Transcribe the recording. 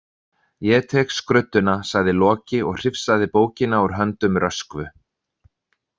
Ég tek skrudduna, sagði Loki og hrifsaði bókina úr höndum Röskvu.